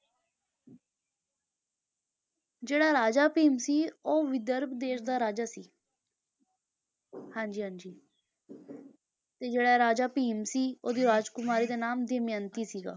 ਜਿਹੜਾ ਰਾਜਾ ਭੀਮ ਸੀ ਉਹ ਵਿਦਰਭ ਦੇਸ ਦਾ ਰਾਜਾ ਸੀ ਹਾਂਜੀ ਹਾਂਜੀ ਤੇ ਜਿਹੜਾ ਰਾਜਾ ਭੀਮ ਸੀ ਉਹਦੀ ਰਾਜਕੁਮਾਰੀ ਦਾ ਨਾਮ ਦਮਿਅੰਤੀ ਸੀਗਾ,